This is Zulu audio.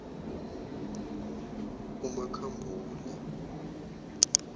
umakhambule